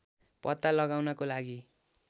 पत्ता लगाउनको लागि